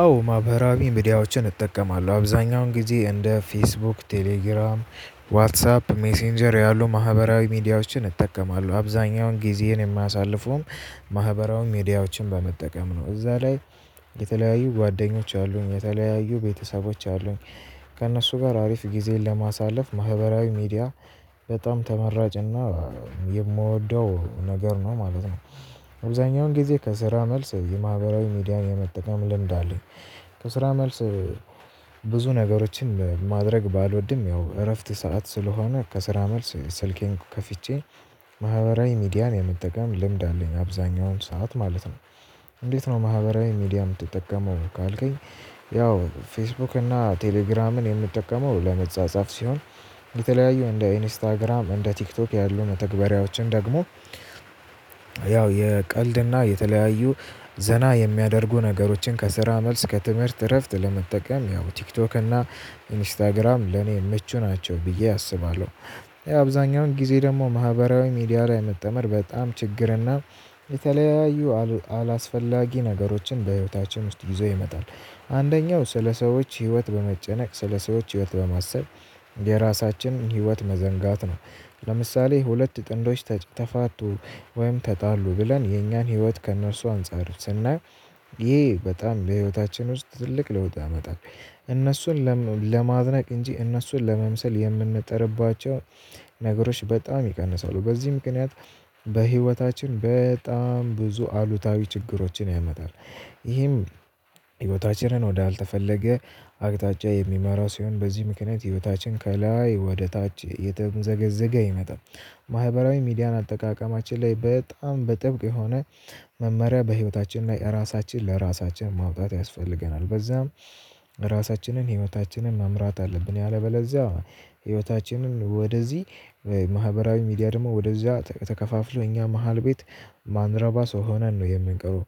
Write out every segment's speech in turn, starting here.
አዎ ማህበራዊ ሚዲያዎችን እጠቀማለሁ አብዛኛውን ጊዜ እንደ ፌስቡክ ቴሌግራም ዋትሳፕ ሜሴንጀር ያሉ ማህበራዊ ሚዲያዎችን እጠቀማለሁ አብዛኛውን ጊዜህን የማሳልፈውም ማህበራዊ ሚዲያዎችን በመጠቀም ነው እዛ ላይ። የተለያዩ ጓደኞች አሉኝ የተለያዩ ቤተሰቦች አሉኝ ከእነሱ ጋር አሪፍ ጊዜን ለማሳለፍ ማህበራዊ ሚዲያ በጣም ተመራጭና የምወደው ነገር ነው ማለት ነው። አብዛኛውን ጊዜ ከስራ መልስ የማህበራዊ ሚዲያ የመጠቀም ልምድ። ከስራ መልስ። ብዙ ነገሮችን ማድረግ ባልወድም ያው እረፍት ሰዓት ስለሆነ ከስራ መልስ ስልኬን ከፍቼ ማህበራዊ ሚዲያን የምጠቀም ልምድ አለኝ አብዛኛውን ሰዓት ማለት ነው። እንዴት ነው ማህበራዊ ሚዲያ የምትጠቀመው ካልከኝ? ያው ፌስቡክ እና ቴሌግራምን የምትጠቀመው ለመጻጻፍ ሲሆን። በተለያዩ እንደ ኢንስታግራም እንደ ቲክቶክ ያሉ መተግባራዎችን ደግሞ። ያው የቀልድና የተለያዩ ዘና የሚያደርጉ ነገሮችን ከስራ መልስ ከትምህርት እረፍት ለመጠቀም ያው ቲክቶክ እና ኢንስታግራም ለኔ ምቹ ናቸው ብዬ አስባለሁ። አብዛኛውን ጊዜ ደግሞ ማህበራዊ ሚዲያ ላይ መጠመር በጣም ችግርና። የተለያዩ አላስፈላጊ ነገሮችን በህይወታችን ውስጥ ይዘው ይመጣል አንደኛው ስለሰዎች ህይወት በመጨነቅ ስለሰዎች ህይወት በማሰብ የራሳችን ህይወት መዘንጋት ነው። ለምሳሌ ሁለት ጥንዶች ተፋቱ ወይም ተጣሉ ብለን የኛን ህይወት ከእነርሱ አንፃር ስናየው። ይህ በጣም በህይወታችን ውስጥ ትልቅ ለውጥ አመጣን። እነሱን ለማድነቅ እንጂ እነሱን ለመምሰል የምንጠርባቸው ነገሮች በጣም ይቀንሳሉ። በዚህም ምክንያት በህይወታችን በጣም ብዙ አሉታዊ ችግሮችን ያመጣል። ይህም ህይወታችንን ወደ አልተፈለገ አቅጣጫ የሚመራ ሲሆን በዚህ ምክንያት ህይወታችን ከላይ ወደታች እየተምዘገዘገ ይመጣል። ማህበራዊ ሚዲያን አልተቃቀማችን ላይ በጣም በጥብቅ የሆነ መመሪያ በህይወታችን ላይ ራሳችን ለራሳችን ማውጣት ያስፈልገናል። በዛም ራሳችንን ህይወታችንን መምራት አለብን። ያለበለዚያ ህይወታችንን ወደዚህ ማህበራዊ ሚዲያ ደግሞ ወደዚያ ተከፋፍሎ እኛ መሃል ቤት የማንረባ ሰው ሆነን ነው የምንቀሩት።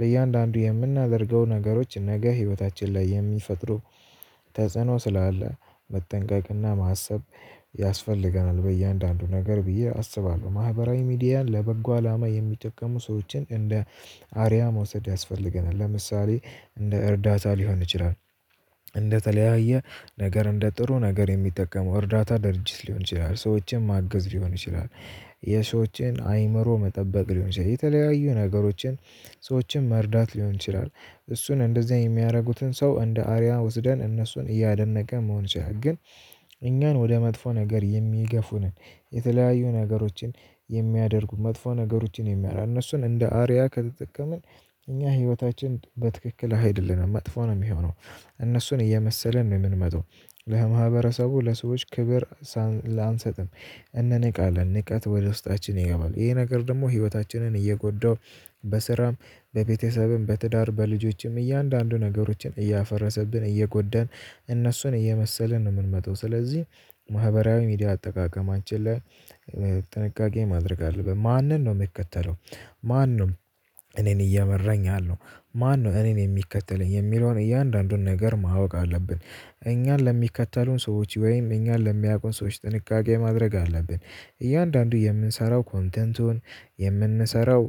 ለእያንዳንዱ የምናደርገው ነገሮች ነገ ህይወታችን ላይ የሚፈጥሩ ተጽዕኖ ስላለ መጠንቀቅና ማሰብ ያስፈልገናል። በእያንዳንዱ ነገር ብዬ አስባለሁ። ማህበራዊ ሚዲያን ለበጎ አላማ የሚጠቀሙ ሰዎችን እንደ አርያ መውሰድ ያስፈልገናል። ለምሳሌ እንደ እርዳታ ሊሆን ይችላል። እንደተለያየ ነገር እንደ ጥሩ ነገር የሚጠቀመው እርዳታ ድርጅት ሊሆን ይችላል ሰዎችን ማገዝ ሊሆን ይችላል። የሰዎችን አእምሮ መጠበቅ ሊሆን ይችላል የተለያዩ ነገሮችን ሰዎችን መርዳት ሊሆን ይችላል። እሱን እንደዚህ የሚያደርጉትን ሰው እንደ አርያ ወስደን እነሱን እያደቀ መሆን ያህል ግን እኛን ወደ መጥፎ ነገር የሚገፉ ነን። የተለያዩ ነገሮችን የሚያደርጉ መጥፎ ነገሮችን የሚያላነሱን እንደ አርያ ከተጠቀምን እኛ ህይወታችን በትክክል አይደለንም መጥፎ ነው ሚሆነው። እነሱን እየመሰለን ነው የምንመጣው። ለማህብረተሰቡ ለሰዎች ክብር እንንቃለን ንቃት ወደ ውስጣችን ይገባሉ ይሄ ነገር ደግሞ ህይወታችንን እየጎዳው። በስራም በቤተሰብም በትዳር በልጆችም እያንዳንዱን ነገሮችን እያፈረሰብን እየጎዳን እነሱን እየመሰለን ነው ምንመጣው። ስለዚህ ማህበራዊ ሚዲያ አጠቃቀማችን ላይ ጥንቃቄ ማድረግ አለብን። ማንን ነው ምከተለው? ማንም እኔን እየመረኝ አለው? ማን ነው እኔን የሚከተለኝ የሚለውን እያንዳንዱን ነገር ማወቅ አለብን። እኛን ለሚከተሉን ሰዎች ወይም እኛን ለሚያውቁን ሰዎች ጥንቃቄ ማድረግ አለብን። እያንዳንዱ የምንሰራው ኮንተንቱን የምንሰራው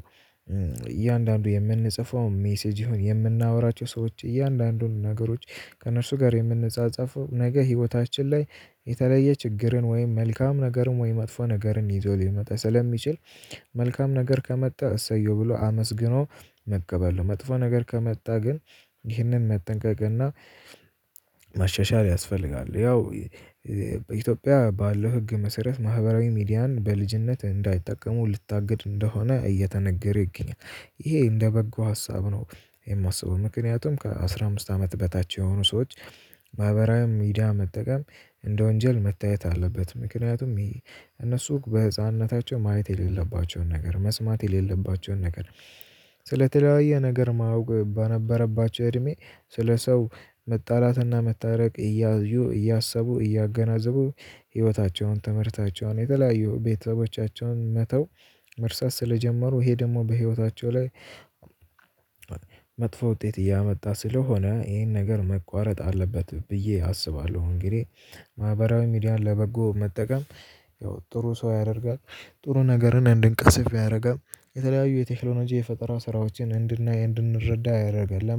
እያንዳንዱ የምንጽፈው ሜሴጅ ይሁን የምናወራቸው ሰዎች እያንዳንዱን ነገሮች ከእነርሱ ጋር የምንጻጻፈው ነገ ህይወታችን ላይ የተለየ ችግርን ወይም መልካም ነገርም ወይም መጥፎ ነገርን ይዞ ሊመጣ ስለሚችል። መልካም ነገር ከመጣ እሰየው ብሎ አመስግኖ መቀበል ነው። መጥፎ ነገር ከመጣ ግን ይህንን መጠንቀቅ እና ማሻሻል ያስፈልጋል። ያው በኢትዮጵያ ባለው ህግ መሰረት ማህበራዊ ሚዲያን በልጅነት እንዳይጠቀሙ ልታገድ እንደሆነ እየተነገረ ይገኛል። ይሄ እንደ በጎ ሀሳብ ነው። የማስበው ምክንያቱም ከአሥራ አምስት አመት በታች የሆኑ ሰዎች ማህበራዊ ሚዲያ መጠቀም እንደ ወንጀል መታየት አለበት። ምክንያቱም ይሄ እነሱ በህፃንነታቸው ማየት የሌለባቸውን ነገር መስማት የሌለባቸውን ነገር። ስለተለያየ ነገር ማወቅ በነበረባቸው እድሜ ስለ ሰው መጣላትና መታረቅ እያዩ እያሰቡ እያገናዘቡ ህይወታቸውን ትምህርታቸውን የተለያየ ቤተሰቦቻቸውን መተው። መርሳት ስለጀመሩ ይሄ ደግሞ በህይወታቸው ላይ መጥፎ ውጤት እያመጣ ስለሆነ ይሄን ነገር መቋረጥ አለበት ብዬ አስባለሁ። እንግዲህ ማህበራዊ ሚዲያ ለበጎ መጠቀም። ያው ጥሩ ሰው ያደርጋል ጥሩ ነገርን እንድንቀስፍ ያደርጋል። የተለያዩ የቴክኖሎጂ የፈጠራ ስራዎችን እንድንረዳ ያደርጋል